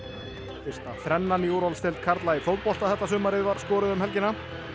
fyrsta þrennan í úrvalsdeild karla í fótbolta þetta sumarið var skoruð um helgina